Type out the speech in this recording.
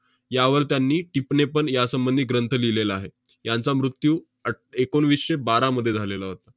यावल त्यांनी टिपणे पण यासंबंधी ग्रंथ लिहिलेला आहे. यांचा मृत्यू अट~ एकोणवीसशे बारामध्ये झालेला होता.